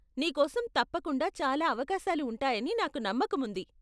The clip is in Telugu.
నీకోసం తప్పకుండా చాలా అవకాశాలు ఉంటాయని నాకు నమ్మకముంది.